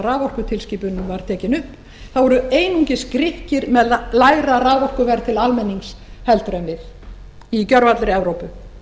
raforkutilskipunin var tekin upp þá voru einungis grikkir með lægra raforkuverð til almennings heldur en við í gervallri evrópu